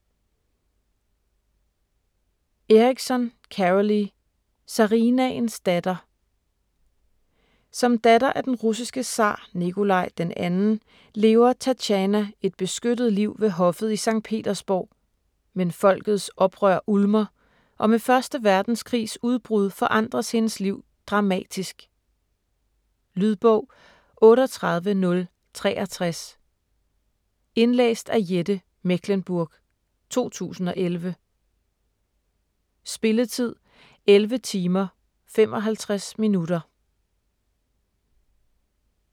Erickson, Carolly: Zarinaens datter Som datter af den russiske zar Nikolaj 2. lever Tatjana et beskyttet liv ved hoffet i Sankt Petersborg, men folkets oprør ulmer, og med 1. verdenskrigs udbrud forandres hendes liv dramatisk. Lydbog 38063 Indlæst af Jette Mechlenburg, 2011. Spilletid: 11 timer, 55 minutter.